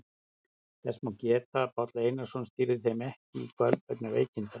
Þess má geta að Páll Einarsson stýrði þeim ekki í kvöld vegna veikinda.